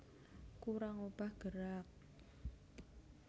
Kurang obah gerak